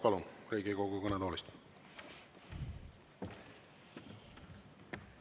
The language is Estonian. Palun, Riigikogu kõnetoolist!